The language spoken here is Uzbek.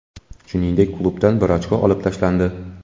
Shuningdek, klubdan bir ochko olib tashlandi.